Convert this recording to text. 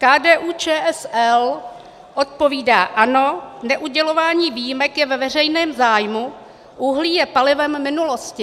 KDU-ČSL odpovídá: Ano, neudělování výjimek je ve veřejném zájmu, uhlí je palivem minulosti.